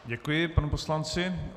Děkuji panu poslanci.